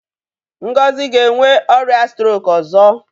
Ngozi ga-enwe ọrịa strok ọzọ.